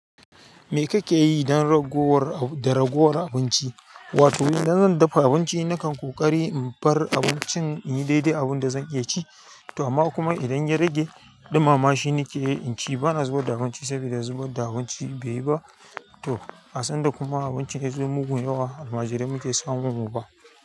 Mi kake yi dan ragowar- da ragowar abinci? Wato idan zan dafa abinci, na kan ƙoƙari in bar abincin inyi daidai abin da zan iya c, to amma kuma idan ya rage, ɗumama shine ke in ci, ba na zubad da abinci sabida zubad da abinci bai yi ba, to, asanda kuma abinci yai zo mugun yawa almajirai muke samu mu ba.